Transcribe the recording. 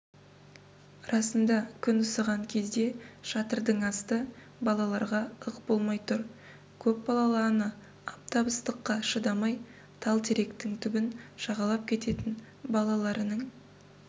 расында күн ысыған кезде шатырдың асты балаларға ық болмай тұр көпбалалы ана аптап ыстыққа шыдамай тал теректің түбін жағалап кететін балаларының